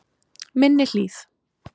Minni Hlíð